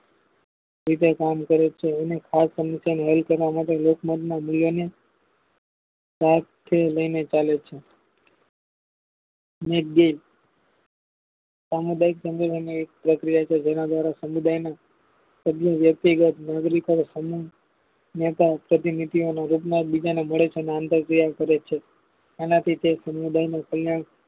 તહુ બાઈક જંગલોમાં એક પ્રક્રિય છે જેના દ્વારા સમુદાયના વ્યક્તિ ગત મોટા પ્રતિનિધિ ઓનો રાજનાથ બીજાને મળે છે અને ક્રિયા કરે છે આના થી તે સમુદાય નું કલ્યાણ